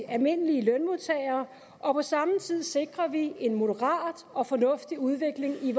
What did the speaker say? almindelige lønmodtagere og på samme tid sikrer vi en moderat og fornuftig udvikling i